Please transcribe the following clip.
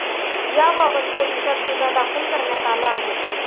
याबाबत पोलिसात गुन्हा दाखल करण्यात आला आहे.